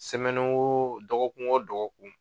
wo dɔgɔkun wo dɔgɔkun.